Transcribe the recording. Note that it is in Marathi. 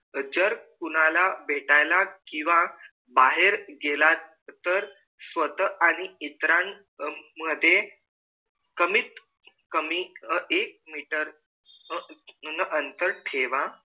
जर कोणाला भेटायला किंवा बाहेर गेला तर स्वतः आणि इतरा मध्ये कमीत कमी एक meter अंतर ठेवा